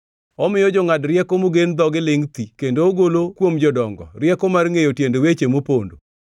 Omiyo jongʼad rieko mogen dhogi lingʼ thi kendo ogolo kuom jodongo rieko mar ngʼeyo tiend weche mopondo.